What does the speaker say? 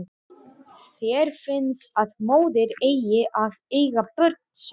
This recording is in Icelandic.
Þér finnst að móðir eigi að eiga börn sín.